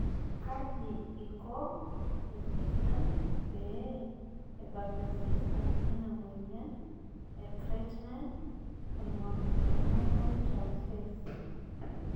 Kaji ikonresistant pee ebakresistant ena moyian e carnitine palmitoyltransferase